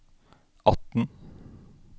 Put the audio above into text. atten